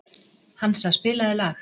Hansa, spilaðu lag.